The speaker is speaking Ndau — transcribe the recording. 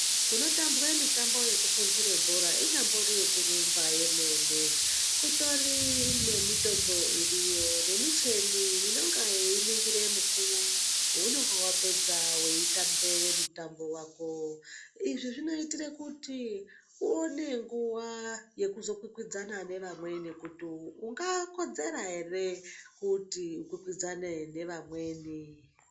Kunotambwe mitambo yekupunture bhora ,inyambori yekurumba yemene, kutori nemitombo iriyo, nemicheni inonga yeiningire mukuwo wounonga wapedza weitambe mutambo wako. Izvi zvinoitire kuti uone nguwa yekuzokwikwidzana nevamweni kuti ungakodzera ere, kuti ukwikwidzane nevamweni.